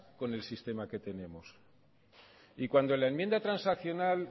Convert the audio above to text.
con el sistema que tenemos y cuando en la enmienda transaccional